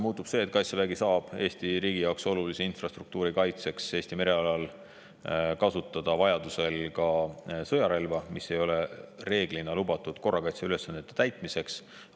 Muutub see, et Kaitsevägi saab Eesti riigi jaoks olulise infrastruktuuri kaitseks Eesti merealal vajaduse korral kasutada sõjarelva, mis ei ole enamasti lubatud korrakaitseliste ülesannete täitmiseks.